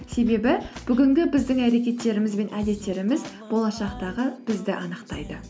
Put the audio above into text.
себебі бүгінгі біздің әрекеттеріміз бен әдеттеріміз болашақтағы бізді анықтайды